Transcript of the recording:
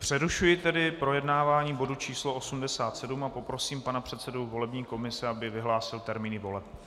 Přerušuji tedy projednávání bodu číslo 87 a poprosím pana předsedu volební komise, aby vyhlásil termíny voleb.